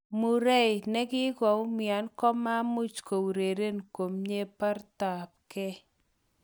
Murray nekikaumian komamuch koureren komie baretabge.